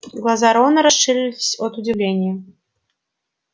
глаза рона расширились от удивления